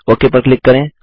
okay पर click करें